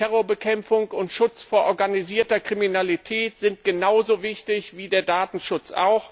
Terrorbekämpfung und Schutz vor organisierter Kriminalität sind genauso wichtig wie der Datenschutz.